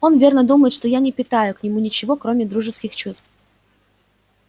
он верно думает что я не питаю к нему ничего кроме дружеских чувств